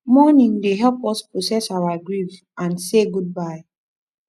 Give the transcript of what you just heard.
mourning dey help us to process our grief and say goodbye